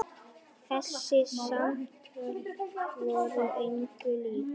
Þessi samtöl voru engu lík.